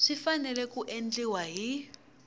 swi fanele ku endliwa hi